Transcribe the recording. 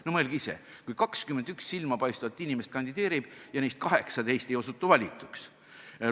No mõelge ise, kui 21 silmapaistvat inimest kandideerib ja neist 18 ei osutu valituks!